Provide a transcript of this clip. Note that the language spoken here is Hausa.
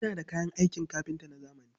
Ina da kayan aikin kafinta na zamani.